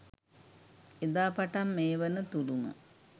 එදා පටන් මේ වන තුරුම